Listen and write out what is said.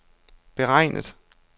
beregnet